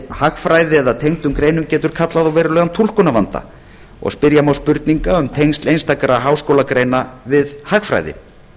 hagfræði eða tengdum greinum getur kallað á verulegan túlkunarvanda og spyrja má spurninga um tengsl einstakra háskólagreina við hagfræði